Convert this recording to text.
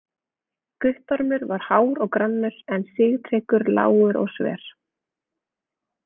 Guttormur var hár og grannur en Sigtryggur lágur og sver.